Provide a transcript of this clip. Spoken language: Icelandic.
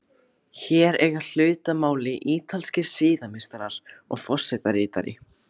Hér eiga hlut að máli ítalskir siðameistarar og forsetaritari.